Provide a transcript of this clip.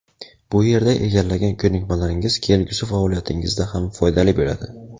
bu yerda egallagan ko‘nikmalaringiz kelgusi faoliyatingizda ham foydali bo‘ladi.